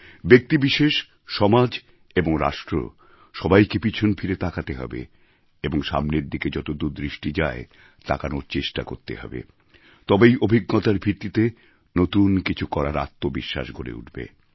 ব্যক্তিবিশেষ সমাজ এবং রাষ্ট্র সবাইকে পিছন ফিরে তাকাতে হবে এবং সামনের দিকে যতদূর দৃষ্টি যায় তাকানোর চেষ্টা করতে হবে তবেই অভিজ্ঞতার ভিত্তিতে নতুন কিছু করার আত্মবিশ্বাস গড়ে উঠবে